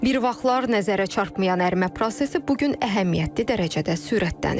Bir vaxtlar nəzərə çarpmayan ərimə prosesi bu gün əhəmiyyətli dərəcədə sürətlənib.